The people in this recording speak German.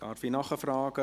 Darf ich nachfragen: